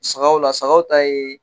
Sagaw la sagaw ta ye